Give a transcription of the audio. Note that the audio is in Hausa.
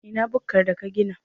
A ina bukkar da ka gina?